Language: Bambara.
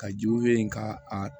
Ka jiw ye ka a